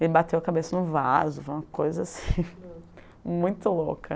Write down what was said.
Ele bateu a cabeça no vaso, foi uma coisa, assim, muito louca.